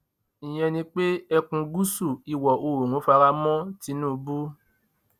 ìyẹn ni pé ẹkùn gúúsù iwọ̀oòrùn fara mọ tinubu